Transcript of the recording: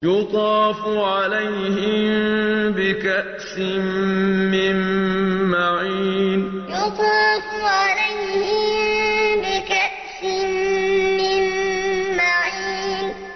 يُطَافُ عَلَيْهِم بِكَأْسٍ مِّن مَّعِينٍ يُطَافُ عَلَيْهِم بِكَأْسٍ مِّن مَّعِينٍ